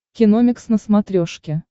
киномикс на смотрешке